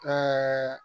Ɛɛ